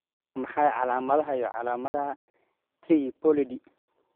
Waa maxay calaamadaha iyo calaamadaha Triploidy?